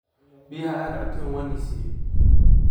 Biyaha aad cabteen wanisiiye.